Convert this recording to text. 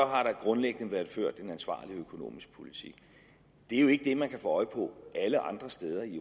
har der grundlæggende været ført en ansvarlig økonomisk politik det er jo ikke det man kan få øje på alle andre steder i